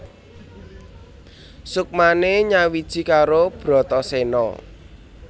Suksmane nyawiji karo Bratasena